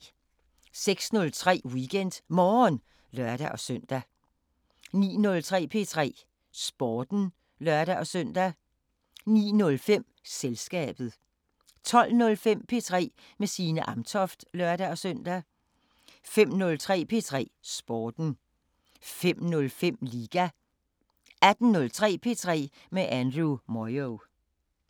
06:03: WeekendMorgen (lør-søn) 09:03: P3 Sporten (lør-søn) 09:05: Selskabet 12:05: P3 med Signe Amtoft (lør-søn) 15:03: P3 Sporten 15:05: Liga 18:03: P3 med Andrew Moyo